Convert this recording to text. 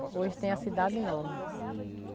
Hoje tem a cidade nova.